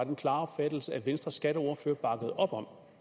den klare opfattelse at venstres skatteordfører bakkede op om